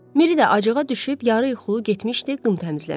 Miri də acığa düşüb yarıyuxulu getmişdi qım təmizləməyə.